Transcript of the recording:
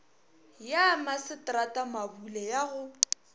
ya masetrata mabule ya go